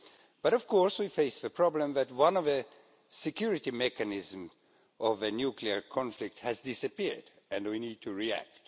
But of course we face the problem that one of the security mechanisms of a nuclear conflict has disappeared, and we need to react.